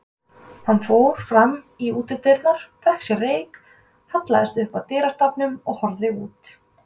Hann fór fram í útidyrnar, fékk sér reyk, hallaðist upp að dyrastafnum og horfði út.